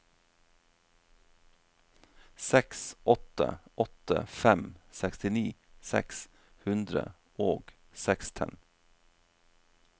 seks åtte åtte fem sekstini seks hundre og seksten